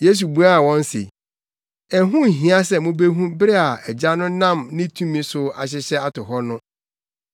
Yesu buaa wɔn se, “Ɛho nhia sɛ mubehu bere a Agya no nam ne tumi so ahyehyɛ ato hɔ no.